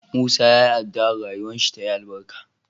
Musa yayi adua rayuwar shi tayi albarka